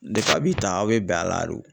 a bɛ tan aw bɛ bɛn a la de o.